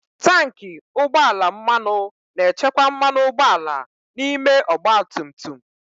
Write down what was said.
Tanki ugbọ ala mmanụ na-echekwa mmanụ ụgbọala n'ime ọgba tum tum.